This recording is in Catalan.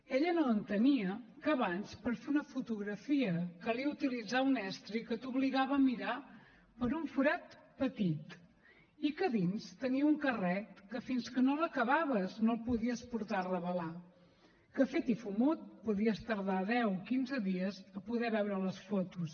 ella no entenia que abans per fer una fotografia calia utilitzar un estri que t’obligava a mirar per un forat petit i que a dins tenia un carret que fins que no l’acabaves no el podies portar a revelar que fet i fumut podies tardar deu quinze dies a poder veure les fotos